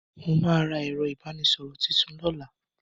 Mo ma ra ẹ̀rọ ìbánísọ̀rọ̀ tuntun lọ́la.